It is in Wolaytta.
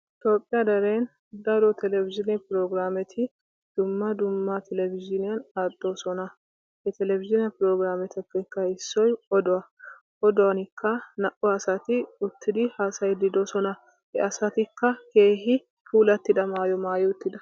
toophiyaa deren daro televizhiine prograameti dumma dumma televizhiiniyan aadhoososna.ha televizhiine prograametuppe issoy oduwa. oduwankka naa"u asati utidi haasayiidi de'oososa, he asatikka keehi puulatida maayuwa maayi uttidosona.